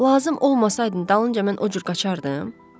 Lazım olmasaydın dalınca mən o cür qaçardım?